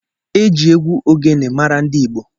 Eji egwu Ogene mara ndi Igbo.